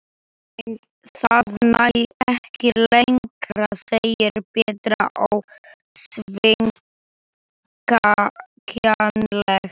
Nei, það nær ekki lengra segir Petra ósveigjanleg.